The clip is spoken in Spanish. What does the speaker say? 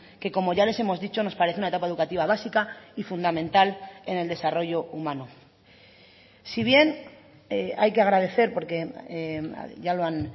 que como ya les hemos dicho nos parece una etapa educativa básica y fundamental en el desarrollo humano si bien hay que agradecer porque ya lo han